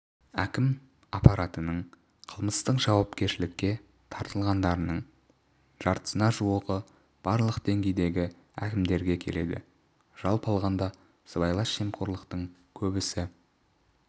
әкім аппаратының қылмыстық жауапкершілікке тартылғандарының жартысына жуығы барлық деңгейдегі әкімдерге келеді жалпы алғанда сыбайлас жемқорлықтың көбісі